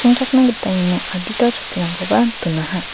gita iano adita chokkirangkoba donaha.